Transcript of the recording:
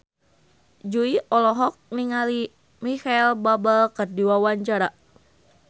Jui olohok ningali Micheal Bubble keur diwawancara